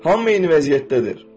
Hamı eyni vəziyyətdədir.